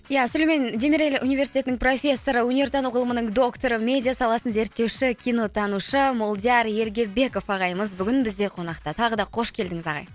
ия сүлеймен демирель университетінің профессоры өнертану ғылымының докторы медиа саласын зерттеуші кионотанушы молдияр ергебеков ағайымыз бүгін бізде қонақта тағы да қош келдіңіз ағай